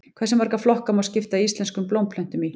Hversu marga flokka má skipta íslenskum blómplöntum í?